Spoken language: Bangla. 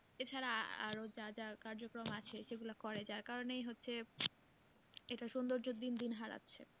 এছাড়া আরো যা যা কার্যক্রম আছে সেগুলো করে যার কারণেই হচ্ছে এটা সুন্দর্য দিন দিন হারাচ্ছে।